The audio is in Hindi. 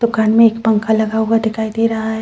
दुकान में एक पंखा लगा हुए दिखाई दे रहा है।